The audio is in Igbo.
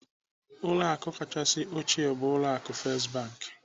Ụlọ akụ kachasị ochie bụ ụlọ akụ First Bank.